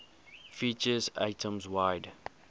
features atoms wide